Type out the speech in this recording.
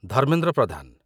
Dharmendra Pradhan